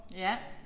Ja